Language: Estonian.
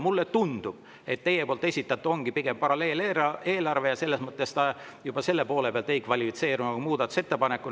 Mulle tundub, et teie poolt esitatu ongi pigem paralleeleelarve, ning juba selles mõttes ta ei kvalifitseerunud muudatusettepanekuna.